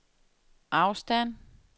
afstand